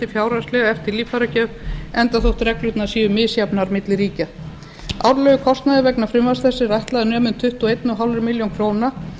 fjárhagslega eftir líffæragjöf enda þótt reglur séu misjafnar milli ríkja árlegur kostnaður vegna frumvarps þessa er ætlaður að nema um tuttugu og eins og hálfa milljón króna